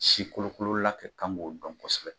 Si kolo kolo la ka kan k'o dɔn kosɛbɛ.